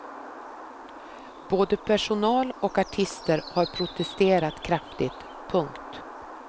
Både personal och artister har protesterat kraftigt. punkt